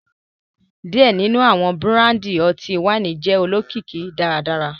Diẹ ninu awọn burandi ọti-waini jẹ olokiki daradara